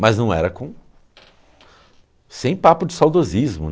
Mas não era com, sem papo de saudosismo.